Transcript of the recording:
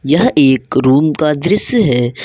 यह एक रूम का दृश्य है।